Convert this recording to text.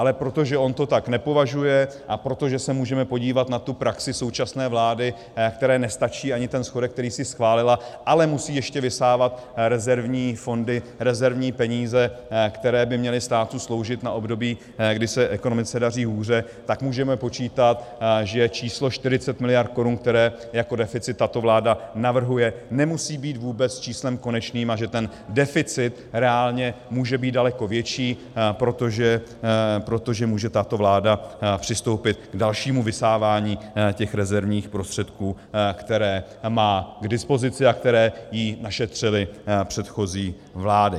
Ale protože on to tak nepovažuje a protože se můžeme podívat na tu praxi současné vlády, které nestačí ani ten schodek, který si schválila, ale musí ještě vysávat rezervní fondy, rezervní peníze, které by měly státu sloužit na období, kdy se ekonomice daří hůře, tak můžeme počítat, že číslo 40 miliard korun, které jako deficit tato vláda navrhuje, nemusí být vůbec číslem konečným, a že ten deficit reálně může být daleko větší, protože může tato vláda přistoupit k dalšímu vysávání těch rezervních prostředků, které má k dispozici a které jí našetřily předchozí vlády.